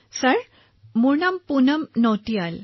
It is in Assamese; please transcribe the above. ছাৰ মই পুনম নটিয়াল